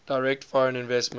direct foreign investment